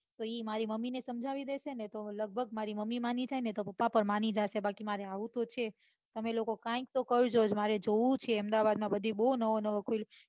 તો ઈ મારી મમ્મી ને સમજાવી દેશે ને તો લઘભગ મારી મમ્મી જશે ને તો મારા પપ્પા પણ માની જશે બાકી માર આવું તો છે જ તમે લોકો તો કરતો જ મારે જોઉં છે અમદાવાદમાં બધી બૌ નવી નવી